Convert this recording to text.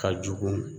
Ka jugu